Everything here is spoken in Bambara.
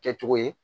Kɛcogo ye